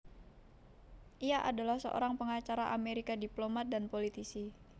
Ia adalah seorang pengacara Amerika diplomat dan politisi